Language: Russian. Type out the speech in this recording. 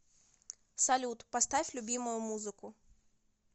салют поставь любимую музыку